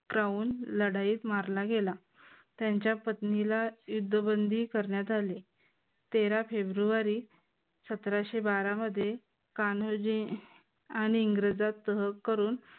Crown लढाईत मारला गेला त्यांच्या पत्नीला युद्धबंदी करण्यात आले. तेरा फेब्रुवारी सतराशे बारा मध्ये कान्होजी आणि इंग्रजात तह करून